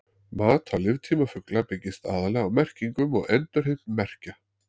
Mat á líftíma fugla byggist aðallega á merkingum og endurheimt merkja.